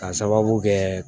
K'a sababu kɛ